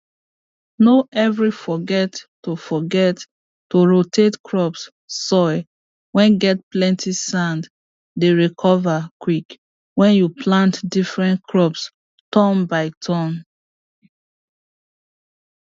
no every forget to forget to rotate crops soil whey get plenty sand dey recover quick when you plant different crops turn by turn